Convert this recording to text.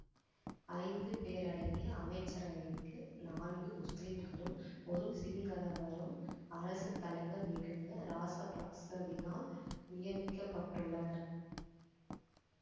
ஐந்து பேரடங்கிய அமைச்சரவைக்கு நான்கு முஸ்லிம்களும் ஒரு சிங்களவரும் அரசு தலைவர் மிகுந்த ராசபக்சவினால் நியமிக்கப்பட்டுள்ளனர்